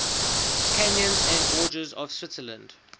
canyons and gorges of switzerland